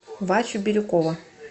васю бирюкова